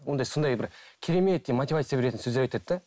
ондай сондай бір кереметтей мотивация беретін сөздер айтады да